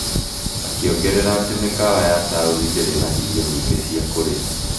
akĩongerera atĩ mĩkawa ya taoni ndĩrĩ na irio nyingĩ cia kũrĩa.